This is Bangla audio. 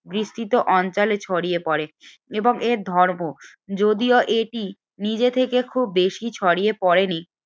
বিস্তৃত অঞ্চলের ছড়িয়ে পড়ে এবং এর ধর্ম যদিও এটি নিজে থেকে খুব বেশি ছড়িয়ে পড়েনি